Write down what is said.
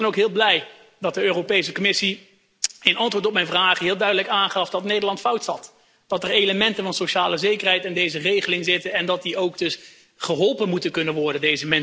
Ik was dan ook heel blij dat de Europese Commissie in antwoord op mijn vraag heel duidelijk aangaf dat Nederland fout zat. Dat er elementen van sociale zekerheid in deze regeling zitten en dat deze mensen dus ook geholpen moeten kunnen worden.